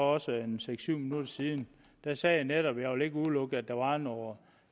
også en seks syv minutter siden så sagde jeg netop at jeg ikke ville udelukke at der var noget